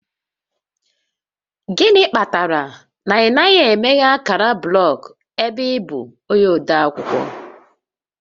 Gịnị kpatara na ị naghị emeghe ákàrà blọgụ ebe ị bụ onye ode akwụkwọ?